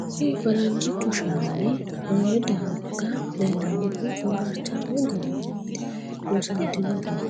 Kuri faranijchu shani rore dariga lelanohu forarichame gobarat loosanitinohuno